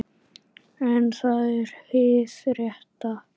En það er hið rétta.